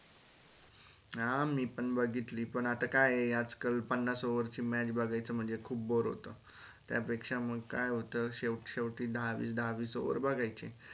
हा मी पण बघितली पण आता काये आजकाल पन्नास over ची match बघायचं खूप बोर होत त्या पेक्षा मग काय होत शेवट शेवटी दहा वीस दहा वीस over बघायचे